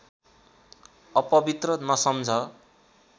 अपवित्र नसम्झ